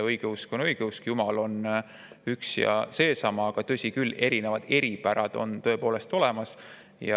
Õigeusk on õigeusk, Jumal on üks ja seesama, aga tõsi küll, eripärad on tõepoolest olemas.